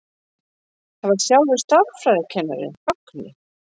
Það var sjálfur stærðfræðikennarinn, Högni.